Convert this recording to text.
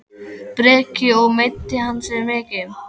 Breki: Og meiddi hann sig mikið?